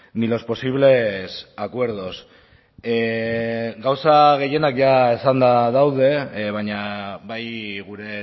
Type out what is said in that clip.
ni los posibles acuerdos gauza gehienak ja esanda daude baina bai gure